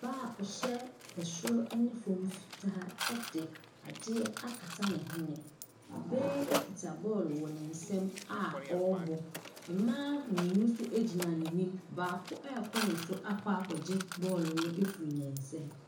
Ɔbaa a ɔhyɛ soro ne fam fitaa de adeɛ akata ne hwene, ɔbaa yi kita bɔɔlo wɔ ne nsa mu a ɔrebɔ. Mmaa mmienu nso gyina n’anim, baako ɛrekɔ ne so akɔ akɔgye bɔɔlo no afiri ne nsam.